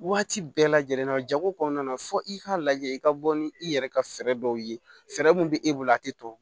Waati bɛɛ lajɛlen na jago kɔnɔna na fo i k'a lajɛ i ka bɔ ni i yɛrɛ ka fɛɛrɛ dɔw ye fɛɛrɛ mun bɛ e bolo a tɛ tɔ